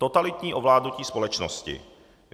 Totalitní ovládnutí společnosti.